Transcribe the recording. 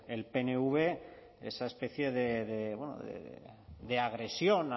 el pnv esa especie de agresión